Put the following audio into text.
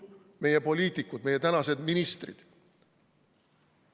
Meie poliitikud, meie tänased ministrid ongi hüpiknukud.